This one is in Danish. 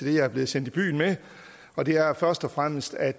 det jeg er blevet sendt i byen med og det er først og fremmest at